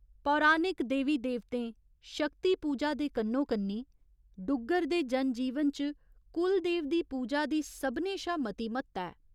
पौराणिक देवी देवतें, शक्ति पूजा दे कन्नो कन्नी डुग्गर दे जन जीवन च कुलदेव दी पूजा दी सभनें शा मती म्हत्ता ऐ।